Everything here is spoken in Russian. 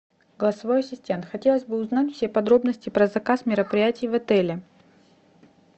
голосовой ассистент хотелось бы узнать все подробности про заказ мероприятий в отеле